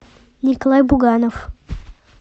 николай буганов